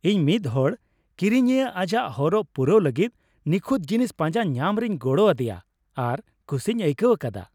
ᱤᱧ ᱢᱤᱫ ᱦᱚᱲ ᱠᱤᱨᱤᱧᱤᱭᱟᱹ ᱟᱡᱟᱜ ᱦᱚᱨᱚᱜ ᱯᱩᱨᱟᱣ ᱞᱟᱹᱜᱤᱫ ᱱᱤᱠᱷᱩᱛ ᱡᱤᱱᱤᱥ ᱯᱟᱸᱡᱟ ᱧᱟᱢ ᱨᱮᱧ ᱜᱚᱲᱚ ᱟᱫᱮᱭᱟ ᱟᱨ ᱠᱩᱥᱤᱧ ᱟᱭᱠᱟᱹᱣ ᱟᱠᱟᱫᱟ ᱾